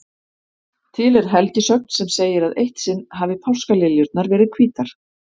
Til er helgisögn sem segir að eitt sinn hafi páskaliljurnar verið hvítar.